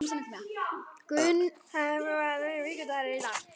Gunnhallur, hvaða vikudagur er í dag?